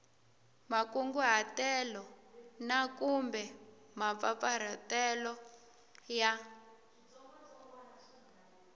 makunguhatelo na kumbe mampfampfarhutelo ya